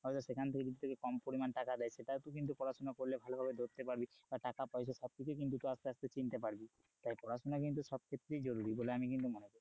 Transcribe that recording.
হয়তো সেখান থেকে যদি তোকে কম পরিমাণ টাকা দেয় সেটাও তুই কিন্তু পড়াশোনা করলে ভালোভাবে ধরতে পারবি, টাকা পয়সা সব কিছু কিন্তু তুই আস্তে আস্তে চিনতে পারবি তাই পড়াশোনা কিন্তু সব ক্ষেত্রেই জরুরি বলে আমি কিন্তু মনে করি।